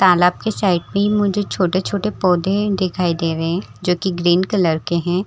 तालाब के साइड में ही मुझे छोटे-छोटे पौधे दिखाई दे रहे हैं जो कि ग्रीन कलर के हैं।